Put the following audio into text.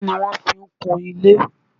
Kí ni wọ́n fi kun ilé?